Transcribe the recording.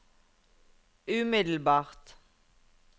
umiddelbart